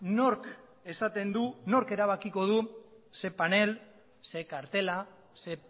nork esaten du nork erabakiko du ze panel ze kartela ze